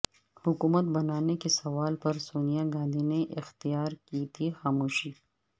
حکومت بنانے کے سوال پرسونیا گاندھی نے اختیارکی تھی خاموشی